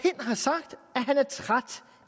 at han er træt